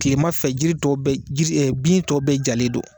Tilemanfɛ jiritɔ bɛɛ jiri bintɔ bɛɛ jalen do.